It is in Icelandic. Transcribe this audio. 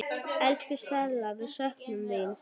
Elsku Stella, við söknum þín.